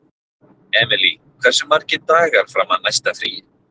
Emilý, hversu margir dagar fram að næsta fríi?